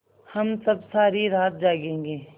हम सब सारी रात जागेंगे